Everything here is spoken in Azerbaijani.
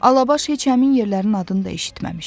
Alabaş heç həmin yerlərin adını da eşitməmişdi.